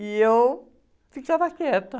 E eu ficava quieta.